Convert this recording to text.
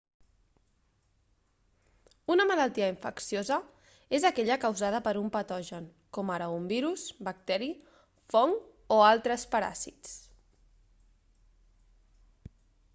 una malaltia infecciosa és aquella causada per un patogen com ara un virus bacteri fong o altres paràsits